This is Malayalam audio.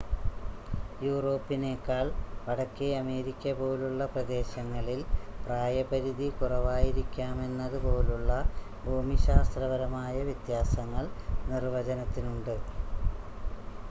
യൂറോപ്പിനേക്കാൾ വടക്കേ അമേരിക്ക പോലുള്ള പ്രദേശങ്ങളിൽ പ്രായ പരിധി കുറവായിരിക്കാമെന്നത് പോലുള്ള ഭൂമിശാസ്ത്രപരമായ വ്യത്യാസങ്ങൾ നിർവചനത്തിനുണ്ട്